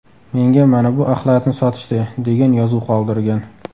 Menga mana bu axlatni sotishdi” degan yozuv qoldirgan.